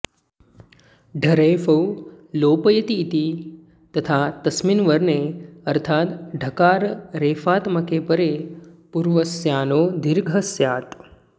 ढरेफौ लोपयतीति तथा तस्मिन्वर्णेऽर्थाद् ढकाररेफात्मके परे पूर्वस्याणो दीर्घः स्यात्